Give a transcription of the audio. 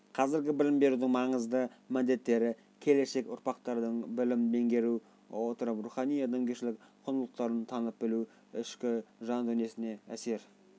қазіргі білім берудің маңызды міндеттері келешек ұрпақтың білімді меңгере отырып рухани-адамгершілік құндылықтарын танып-біліп ішкі жан-дүниесіне әсер